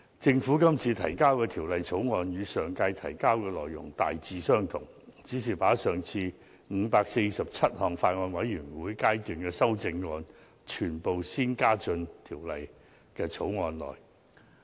政府今次提交的《條例草案》與上屆提交的內容大致相同，只是把上次的547項全體委員會審議階段修正案，全部先加入《條例草案》內。